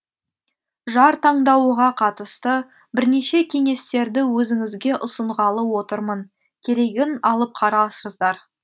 жар таңдауға қатысты бірнеше кеңестерді өзіңізге ұсынғалы отырмын керегін алып қарарсыздар